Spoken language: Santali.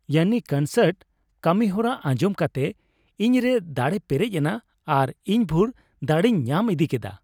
ᱭᱟᱱᱱᱤ ᱠᱚᱱᱥᱟᱨᱴ ᱠᱟᱹᱢᱤᱦᱚᱨᱟ ᱟᱧᱡᱚᱢ ᱠᱟᱛᱮ ᱤᱧᱨᱮ ᱫᱟᱲᱮ ᱯᱮᱨᱮᱡ ᱮᱱᱟ ᱟᱨ ᱤᱧᱵᱷᱩᱨ ᱫᱟᱲᱮᱧ ᱧᱟᱢ ᱤᱫᱤ ᱠᱮᱫᱟ ᱾